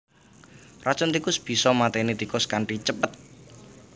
Racun tikus bisa maténi tikus kanthi cepet